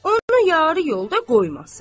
onu yarı yolda qoymasın.